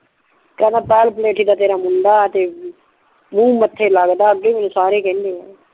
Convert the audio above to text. ਕਿਹੰਦਾ ਬਾਲ ਪਲੈਤੀ ਦਾ ਤੇਰਾ ਮੁੰਡਾ ਤੇ ਮੁਹ ਮੱਥੇ ਲੱਗਦਾ ਅੱਗੇ ਮੈਂਨੂੰ ਸਾਰੇ ਕਿਹੰਦੇ ਨੇ